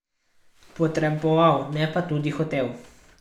Potreboval, ne pa tudi hotel.